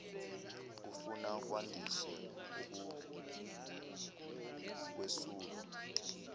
kufuna kwandiswe ukuwesulwa